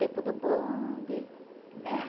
Tempo do bonde, né?